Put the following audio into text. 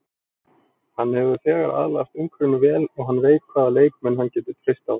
Hann hefur þegar aðlagast umhverfinu vel og hann veit hvaða leikmenn hann getur treyst á.